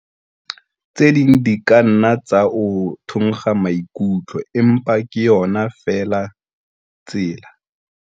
Tse ding di ka nna tsa o thonkga maikutlo empa ke yona feela tsela.